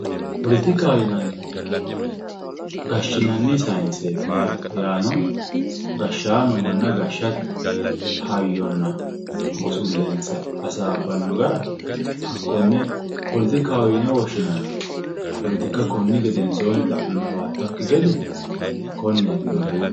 poletikaho yinannihu gashshinanni sayinseeti yaate yaano gashshaano manna gashshate hayyonna busullensa hasaabbanno gara hakkonne poletikkaho yine woshshinanni poletikka konni gedensoonni xa'manno mannira hawattakki gede konneetina buuxi